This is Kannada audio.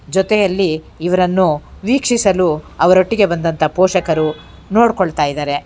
ಜೊತೆಯಲ್ಲಿ ಇವರನ್ನು ವೀಕ್ಷಿಸಲು ಅವರೊಟ್ಟಿಗೆ ಬಂದಂತ ಪೋಷಕರು ನೋಡ್ಕೊಳ್ತಾ ಇದಾರೆ.